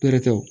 Pɛrɛ ta